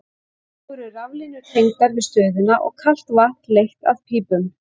Þá eru raflínur tengdar við stöðina og kalt vatn leitt að í pípum.